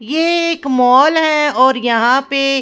एक मॉल है और यहां पे--